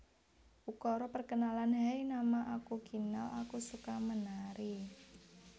Ukara Perkenalan Hai nama aku Kinal aku suka menari